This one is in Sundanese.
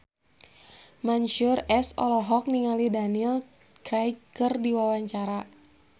Mansyur S olohok ningali Daniel Craig keur diwawancara